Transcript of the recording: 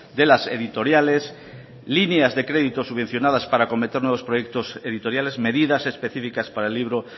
de las editoriales líneas de crédito subvencionadas para acometer nuevos proyectos editoriales medidas específicas para el libro